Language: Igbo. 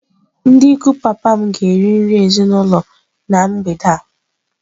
Ndị ikwu papa m ga-eri nri ezinụlọ na mgbede a.